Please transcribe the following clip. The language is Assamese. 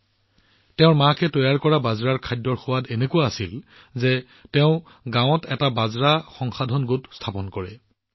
মাকৰ হাতেৰে তৈয়াৰ কৰা বাজৰাৰ সোৱাদ এনেকুৱা আছিল যে তেওঁ নিজৰ গাঁৱত এটা বাজৰা প্ৰক্ৰিয়াকৰণ গোট আৰম্ভ কৰিছিল